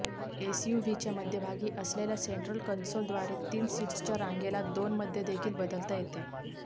एसयूव्हीच्या मध्यभागी असलेल्या central console द्वारे तीन सीट्सच्या रांगेला दोनमध्ये देखील बदलता येते